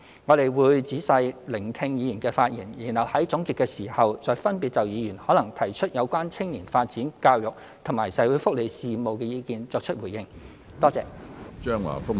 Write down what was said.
我們會仔細聆聽議員的發言，然後在總結時，再分別就議員可能提出有關青年發展、教育及社會福利事務的意見作出回應。